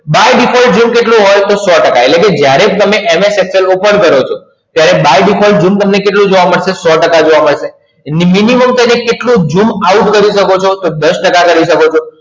by default zoom તમને કેટલું હોય તો સો ટકા એટલે જ્યારે MS Excel open કરો છો ત્યારે by default શું તમને કેટલું જોવા મળશે સો ટકા જોવા મળશે minimum zoom કેટલું out કરી શકો છો તો દસ ટકાકરી શકો છો